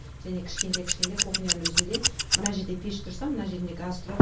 және кішкентай кішкентай кухняның өзінде мына жерде пеш тұрса мына жерінде газ тұрат